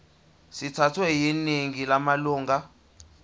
sithathwe yiningi lamalunga